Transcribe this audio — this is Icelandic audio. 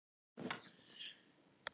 Hann hafði í hótunum og æddi á endanum út.